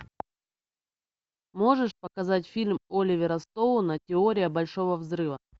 можешь показать фильм оливера стоуна теория большого взрыва